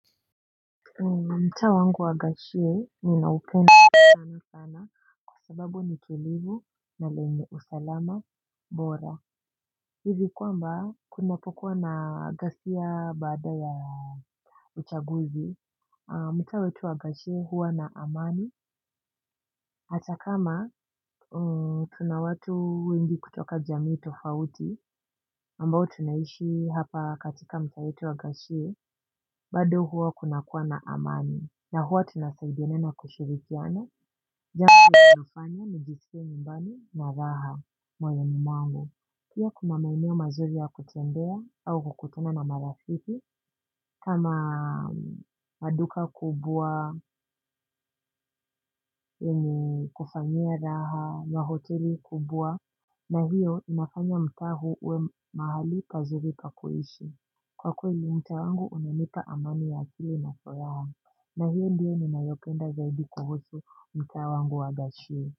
Mtaa wangu wa gachie ninaupenda tena sana kwa sababu ni tulivu na lenye usalama bora hivi kwamba kuna pokuwa na ghasia bada ya uchaguzi mtaa wetu wa gashie huwa na amani hata kama tunawatu wengi kutoka jamii tofauti ambao tunaishi hapa katika mtaa wetu wa gashie bado huwa kuna kuwa na amani. Na huwa tunasaidiana na kushirikiana, jangu ya inafanya nijiskie nyumbani na raha, moyoni mwangu. Pia kuna maeneo mazuri ya kutembea au kukutuna na marafiki, kama maduka kubwa, kufanyia raha, ma hoteli kubwa, na hiyo inafanya mtaa hu uwe mahali pazuri pakuhishi. Kwa kweli mtaa wangu unanipa amani ya akili na furaha. Na hiyo ndiyo ninayopenda zaidi kuhusu mtaa wangu wa gashiwe.